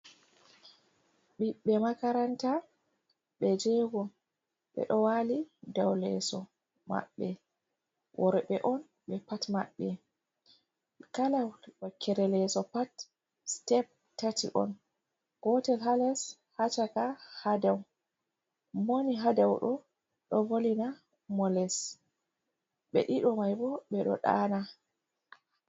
Ɓiɓɓe makaranta ɓe jego ɓe ɗo wali ɗaw leso maɓɓe wor'ɓɓe on ɓe pat maɓɓe kala wakkere leso pat step tati on gotel ha les, Ha caka, Hadau. Mowoni hadau ɗo ɗo volina moles ɓe ɗiɗo maibo ɓe ɗo ɗana.